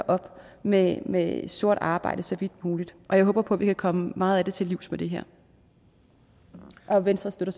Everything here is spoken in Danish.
op med med sort arbejde så vidt muligt og jeg håber på at vi kan komme meget af det til livs med det her venstre støtter